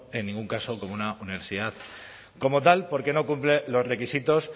en ningún caso como una universidad como tal porque no cumple los requisitos